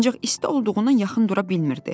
Ancaq isti olduğundan yaxın dura bilmirdi.